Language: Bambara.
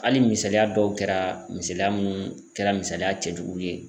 Hali misaliya dɔw kɛra misaliya munnu kɛra misaliya cɛjugu ye.